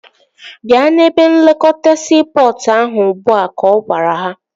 Bịa n'ebe nlekọta siipọtụ ahụ ugbua! Ka ọ gwara ha